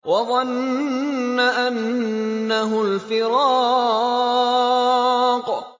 وَظَنَّ أَنَّهُ الْفِرَاقُ